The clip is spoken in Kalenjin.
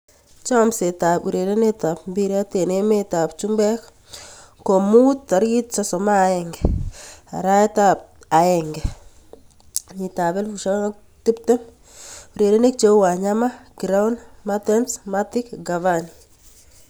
Chomset ab urerenet ab mbiret eng emet ab chumbek komuut 31.01.2020: Wanyama, Giroud, Mertens, Matic, Cavani